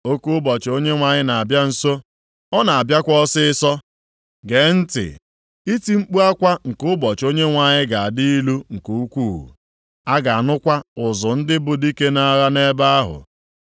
Oke ụbọchị Onyenwe anyị na-abịa nso, ọ na-abịakwa ọsịịsọ. Gee ntị! Iti mkpu akwa nke ụbọchị Onyenwe anyị ga-adị ilu nke ukwuu. A ga-anụkwa ụzụ ndị bụ dike nʼagha nʼebe ahụ.